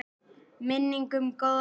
Minning um góðan vin lifir.